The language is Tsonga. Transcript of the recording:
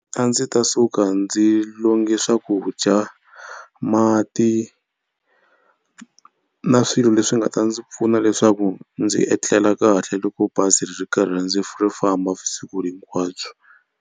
A ndzi ta suka ndzi longe swakudya, mati na swilo leswi nga ta ndzi pfuna leswaku ndzi etlela kahle loko bazi ri karhi ndzi ri famba vusiku hinkwabyo.